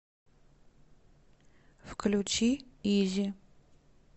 включи изи